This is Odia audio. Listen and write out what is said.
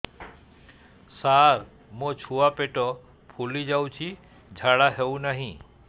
ସାର ମୋ ଛୁଆ ପେଟ ଫୁଲି ଯାଉଛି ଝାଡ଼ା ହେଉନାହିଁ